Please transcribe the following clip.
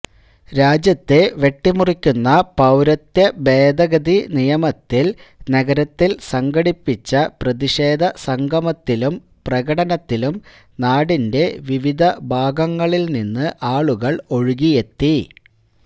രാജ്യത്തെ വെട്ടിമുറിക്കുന്ന പൌരത്വ ഭേദഗതി നിയമത്തിൽ നഗരത്തിൽ സംഘടിപ്പിച്ച പ്രതിഷേധ സംഗമത്തിലും പ്രകടനത്തിലും നാടിൻെറ വിവിധ ഭാഗങ്ങളിൽനിന്ന് ആളുകൾ ഒഴുകിയെത്തി